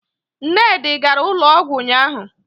Nnedi gara ụlọọgwụ ụnyahụ